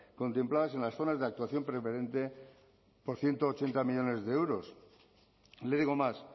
contempladas en las zonas de actuación preferente por ciento ochenta millónes de euros le digo más